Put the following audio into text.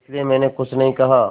इसलिए मैंने कुछ नहीं कहा